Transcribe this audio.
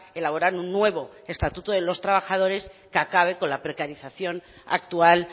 elaborar un nuevo estatuto de los trabajadores que acabe con la precarización actual